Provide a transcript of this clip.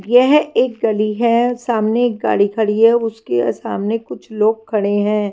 यह एक गली है सामने एक गाड़ी खड़ी है उसके सामने कुछ लोग खड़े हैं।